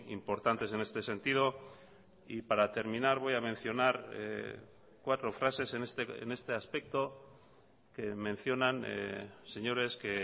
importantes en este sentido y para terminar voy a mencionar cuatro frases en este aspecto que mencionan señores que